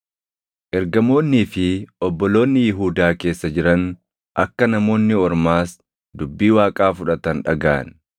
Ergamoonnii fi obboloonni Yihuudaa keessa jiran akka Namoonni Ormaas dubbii Waaqaa fudhatan dhagaʼan.